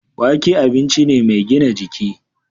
Wake abinci ne mai gina jiki.